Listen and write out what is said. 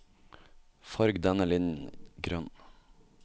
Farg denne linjen grønn